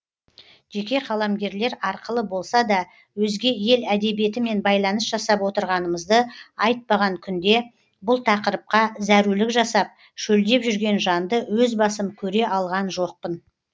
жеке қаламгерлер арқылы болса да өзге ел әдебиетімен байланыс жасап отырғанымызды айтпаған күнде бұл тақырыпқа зәрулік жасап шөлдеп жүрген жанды өз басым көре алған жоқпын